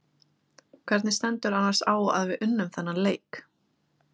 Hvernig stendur annars á að við unnum þennan leik?